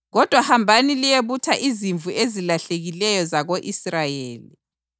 Kodwa hambani liyebutha izimvu ezilahlekileyo zako-Israyeli.